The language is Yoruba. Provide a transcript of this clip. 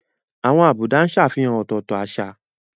Àwọn àbùdá ń ṣàfihàn ọ̀tọ̀ọ̀tọ̀ àṣà.